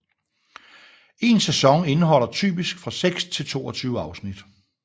En sæson indeholder typisk 6 til 22 afsnit